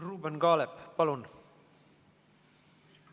Ruuben Kaalep, palun!